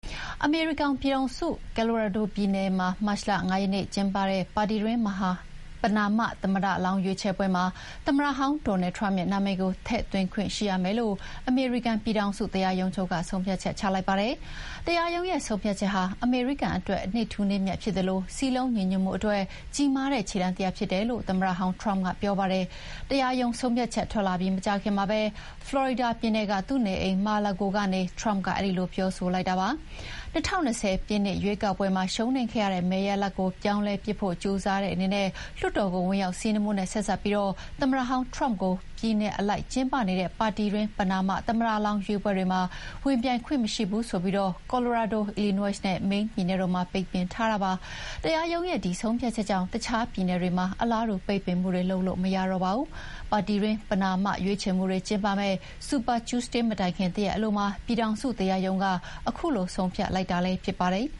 အမေရိကန်ပြည်ထောင်စု၊ Colorado ပြည်နယ်မှာ မတ်လ ၅ ရက်နေ့ကျင်းပဖို့ရှိတဲ့ ပါတီတွင်း ပဏာမသမ္မတလောင်းရွေးချယ်ပွဲမှာ သမ္မတဟောင်း Donald Trump ရဲ့ နာမည်ကို ထည့်သွင်းခွင့်ရှိရမယ်လို့ အမေရိကန် ပြည်ထောင်စုတရားရုံးချုပ်က ဆုံးဖြတ်ချက် ချလိုက်ပါတယ်။ 'တရားရုံးရဲ့ဆုံးဖြတ်ချက်ဟာ အမေရိကန်အတွက် နေ့ထူးနေ့မြတ်ဖြစ်သလို စည်းလုံးညီညွှတ်မှုအတွက် ကြီးမားတဲ့ခြေလှမ်းတရပ်ဖြစ်တယ်' လို့ သမ္မတဟောင်း Trump ကပြောပါတယ်။ တရားရုံးဆုံးဖြတ်ချက်ထွက်လာပြီးမကြာခင်မှာပဲ ဖလော်ရီဒါပြည်နယ်ကသူ့နေအိမ် Mar-a-Lago ကနေ Trump ကအဲဒီလိုပြောဆိုလိုက်တာဖြစ်ပါတယ်။ ၂၀၂၀ ပြည့်နှစ် ရွေးကောက်ပွဲမှာ ရှုံးနိမ့်ခဲ့တဲ့မဲရလဒ်ကို ပြောင်းလဲပစ်ဖို့ကြိုးစားခဲ့တဲ့ လွှတ်တော်ကို ဝင်ရောက်စီးနင်းမှုနဲ့ဆက်စပ်ပြီး သမ္မတဟောင်း Trump ကိုပြည်နယ်အလိုက်ကျင်းပနေတဲ့ ပါတီတွင်း ပဏာမ သမ္မတလောင်းရွေးပွဲတွေမှာဝင်ပြိုင်ခွင့်မရှိဘူးဆိုပြီး Colorado ၊ Illinois နဲ့ Maine ပြည်နယ်တို့မှာ ပိတ်ပင်ထားတာပါ။ တရားရုံးရဲ့ ဒီဆုံးဖြတ်ချက်ကြောင့် အခြားပြည်နယ်တွေမှာ အလားတူ ပိတ်ပင်မှုတွေလုပ်လို့မရတော့ပါဘူး။ ပါတီတွင်း ပဏာမရွေးချယ်မှုတွေကျင်းပမယ့် Super Tuesday မတိုင်ခင်တရက်အလိုမှာ ပြည်ထောင်စုတရားရုံးက ခုလိုဆုံးဖြတ်လိုက်တာလည်းဖြစ်ပါတယ်